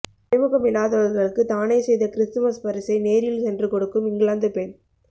அறிமுகம் இல்லாதவர்களுக்கு தானே செய்த கிறிஸ்துமஸ் பரிசை நேரில் சென்று கொடுக்கும் இங்கிலாந்து பெண்